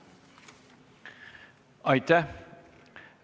Aitäh!